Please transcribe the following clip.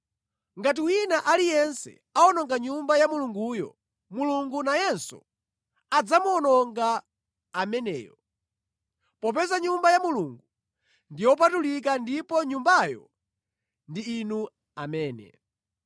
Ngati wina aliyense awononga Nyumba ya Mulunguyo, Mulungu nayenso adzamuwononga ameneyo; popeza Nyumba ya Mulungu ndi yopatulika ndipo Nyumbayo ndi inu amene.